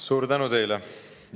Suur tänu teile!